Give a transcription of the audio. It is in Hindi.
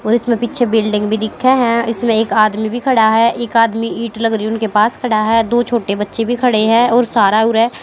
और इसमें पीछे बिल्डिंग भी दिखे है इसमें एक आदमी भी खड़ा है एक आदमी ईट लग रही है उनके पास खड़ा है दो छोटे बच्चे भी खड़े हैं और सारा उर है।